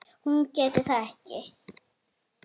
Hún gæti það ekki.